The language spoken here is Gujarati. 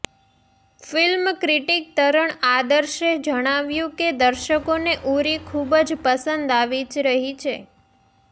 ફિલ્મ ક્રિટિક તરણ આદર્શે જણાવ્યું કે દર્શકોને ઉરી ખૂબ જ પસંદ આવી રહી છે